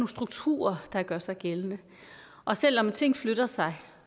strukturer der gør sig gældende og selv om ting flytter sig